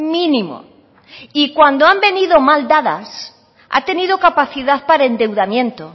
mínimo y cuando han venido mal dadas ha tenido capacidad para endeudamiento